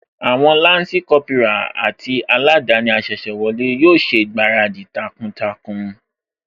Àwọn Lansi Kópírà àti aladani asese wọlé yóò ṣègbáradì takuntakun